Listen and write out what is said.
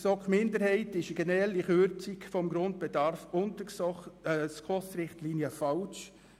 Eine generelle Kürzung des Grundbedarfs, welche die SKOS-Richtlinien unterschreitet, sei falsch.